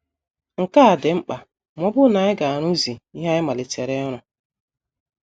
Nke a dị mkpa ma ọ bụrụ na anyị ga - arụzu ihe anyị malitere ịrụ.